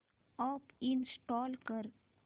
app install कर